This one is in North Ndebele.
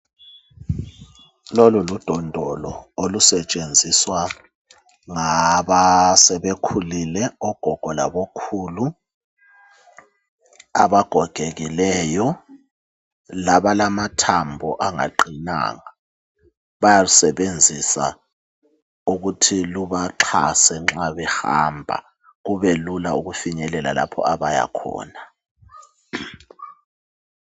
Lolu ludondolo, olusetshenziswa ngabasebekhulile, ogogo labokhulu. Abagogekileyo, labalamathambo angaqinanga. Bayalusebenzisa, ukuthi lubaxhase ma behamba. Kube lula ukufinyelela, lapho abayakhona.